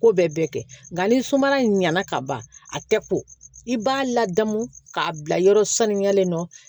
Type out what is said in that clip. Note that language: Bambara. Ko bɛɛ bɛ kɛ nka ni sumaya ɲana ka ban a tɛ ko i b'a ladamu k'a bila yɔrɔ saniyalen don